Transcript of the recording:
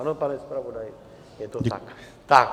Ano, pane zpravodaji, je to tak.